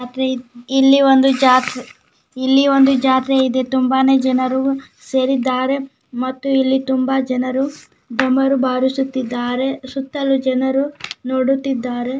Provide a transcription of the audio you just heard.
ಇಲ್ಲಿ ಒಂದು ಜಾತ್ ಇಲ್ಲಿ ಒಂದು ಜಾತ್ರೆ ಇದೆ ತುಂಬಾನೇ ಜನರು ಸೇರಿದ್ದಾರೆ ಮತ್ತು ಇಲ್ಲಿ ತುಂಬ ಜನರು ಢಮರು ಭಾರಿಸುತ್ತಿದಾರೆ ಸುತ್ತಲೂ ಜನರು ನೋಡುತ್ತಿದ್ದಾರೆ.